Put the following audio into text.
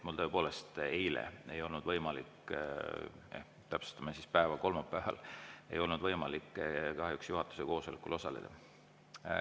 Mul tõepoolest ei olnud eile võimalik – ehk täpsustame siis päeva, kolmapäeval ei olnud võimalik – kahjuks juhatuse koosolekul osaleda.